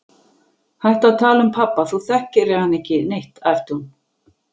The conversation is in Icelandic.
Hættu að tala um pabba, þú þekktir hann ekki neitt, æpti hún.